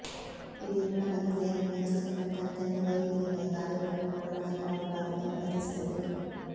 ಇದು ಉತ್ಪಾದಕತೆಯನ್ನು ಹೆಚ್ಚಿಸಲು ಮತ್ತು ಅತ್ಯಂತ ವೈವಿಧ್ಯಮಯ ಕಾರ್ಯಗಳನ್ನು ಮಾಡಲು ಹಲವಾರು ಬಾರಿ ಅನುಮತಿಸುತ್ತದೆ